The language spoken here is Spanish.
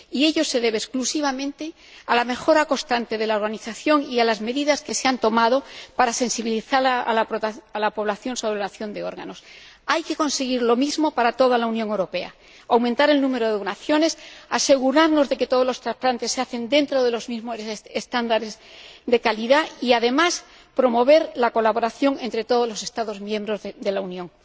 Y ello se debe exclusivamente a la mejora constante de la organización y a las medidas que se han tomado para sensibilizar a la población sobre la donación de órganos. Hay que conseguir lo mismo para toda la Unión Europea aumentar el número de donaciones, asegurarnos de que todos los trasplantes se hacen dentro de los mismos estándares de calidad y, además, promover la colaboración entre todos los Estados miembros de la Unión.